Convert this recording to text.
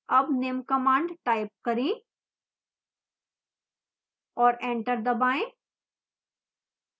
अब निम्न command type करें और enter दबाएं